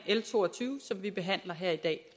l to og tyve som vi behandler her i dag